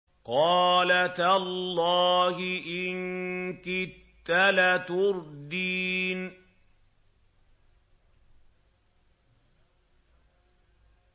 قَالَ تَاللَّهِ إِن كِدتَّ لَتُرْدِينِ